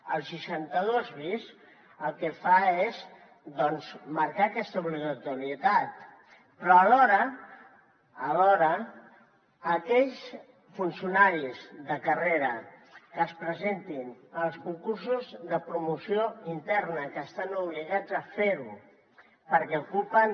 el seixanta dos bis el que fa és doncs marcar aquesta obligatorietat però alhora alhora aquells funcionaris de carrera que es presentin als concursos de promoció interna que estan obligats a fer ho perquè ocupen